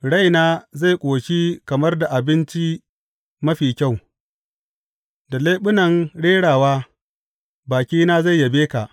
Raina zai ƙoshi kamar da abinci mafi kyau; da leɓunan rerawa bakina zai yabe ka.